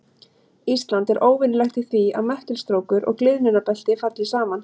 Ísland er óvenjulegt í því að möttulstrókur og gliðnunarbelti falli saman.